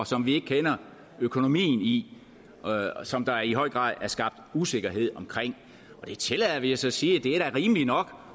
som vi ikke kender økonomien i og som der i høj grad er skabt usikkerhed om det tillader vi os at sige og det er da rimeligt nok